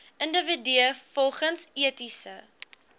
individue volgens etiese